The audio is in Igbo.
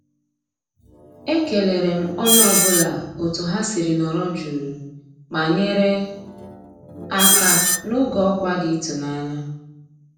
E kéléré m ónyé ọ́ bụ́là ótú há siri nọ̀rọ́ jụ́ụ́ má nyéré àká n'ògé ọ́kwá dị́ ị́tụ́nányá.